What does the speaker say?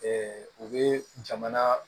u bɛ jamana